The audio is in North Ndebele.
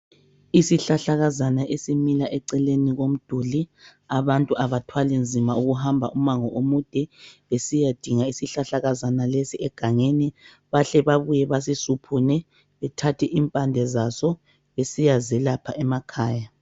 Isihlahlakazana esimila eceleni komduli. Abantu abathwali nzima ukuhamba umango omude besiyadinga isihlahlakazana lesi egangeni. Bahle babuye basisuphune bethathe impande zazo besiya zelapha emakhaya.